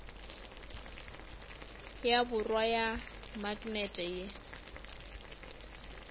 ya borwa ya maknete ye